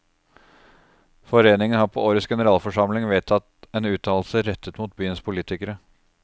Foreningen har på årets generalforsamling vedtatt en uttalelse rettet mot byens politikere.